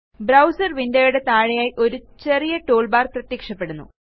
browser windowയുടെ താഴെയായി ഒരു ചെറിയ ടൂൾബാർ പ്രത്യക്ഷപ്പെടുന്നു